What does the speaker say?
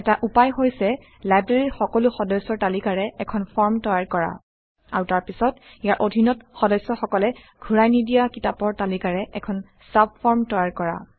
এটা উপায় হৈছে লাইব্ৰেৰীৰ সকলো সদস্যৰ তালিকাৰে এখন ফৰ্ম তৈয়াৰ কৰা আৰু তাৰপিছত ইয়াৰ অধীনত সদস্যসকলে ঘূৰাই নিদিয়া কিতাপৰ তালিকাৰে এখন চাবফৰ্ম তৈয়াৰ কৰা